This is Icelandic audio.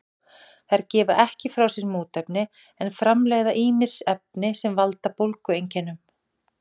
þær gefa ekki frá sér mótefni en framleiða ýmis efni sem valda bólgueinkennum